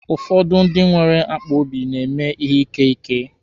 Ụfọdụ ndị nwere akpaobi na-emi ihe ike ike.